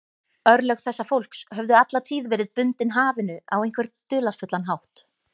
Örlög þessa fólks höfðu alla tíð verið bundin hafinu á einhvern dularfullan hátt.